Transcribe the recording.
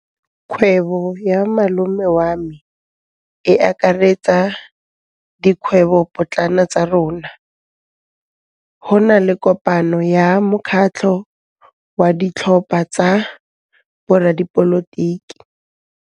Kgwêbô ya malome wa me e akaretsa dikgwêbôpotlana tsa rona. Go na le kopanô ya mokgatlhô wa ditlhopha tsa boradipolotiki.